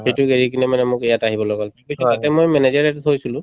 সেইটোক এৰি কিনে মানে মোক ইয়াত আহিবলৈ কই কিন্তু তাতে মই manager